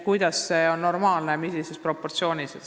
Kuidas on normaalne, millises proportsioonis?